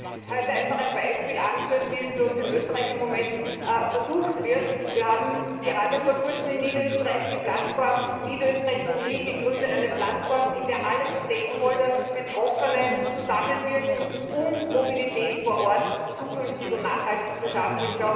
Ich möchte heute einfach ein Beispiel anführen, wie es bei uns in Österreich im Moment versucht wird Wir haben gerade vor kurzem in Niederösterreich die Plattform Niederösterreich mobil gegründet, eine Plattform, in der alle Interessengruppen und Betroffenen zusammenwirken, um Mobilität vor Ort zukünftig und nachhaltig zu schaffen.